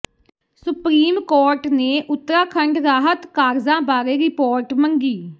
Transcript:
supreme court ਨੇ ਉੱਤਰਾਖੰਡ ਰਾਹਤ ਕਾਰਜਾਂ ਬਾਰੇ ਰਿਪੋਰਟ ਮੰਗੀ